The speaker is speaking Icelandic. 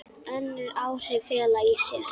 Önnur áhrif fela í sér